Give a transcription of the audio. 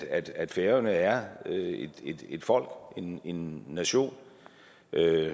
at færøerne er et folk en en nation